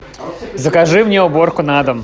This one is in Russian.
закажи мне уборку на дом